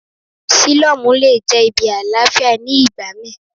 Sílọ́mù le jẹ́ ibi àlàáfíà ní ìgbà mí.